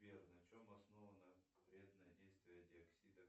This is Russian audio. сбер на чем основано вредное действие диоксида